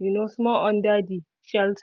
um small under the shelter